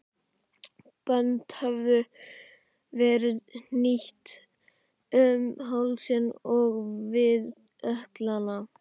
Bönd höfðu verið hnýtt um hálsinn og við ökklana.